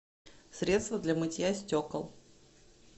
средство для мытья стекол